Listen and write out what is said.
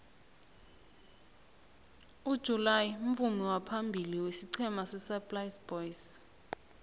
ujuly mvumi waphambili wesiqhema sesaplasi boys